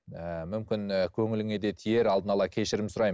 ііі мүмкін і көңіліңе де тиер алдын ала кешірім сұраймын